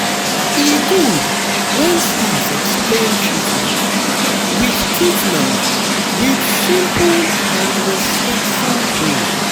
e good when staff explain treatment with treatment with simple and respectful way